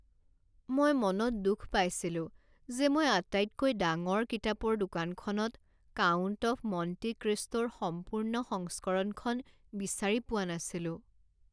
মই মনত দুখ পাইছিলো যে মই আটাইতকৈ ডাঙৰ কিতাপৰ দোকানখনত "কাউণ্ট অৱ মণ্টি ক্ৰিষ্টো"ৰ সম্পূৰ্ণ সংস্কৰণখন বিচাৰি পোৱা নাছিলো।